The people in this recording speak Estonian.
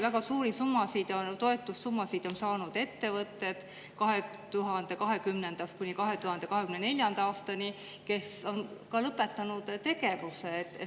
Väga suuri toetussummasid on 2020.–2024. aastani saanud ettevõtted, kes on lõpetanud tegevuse.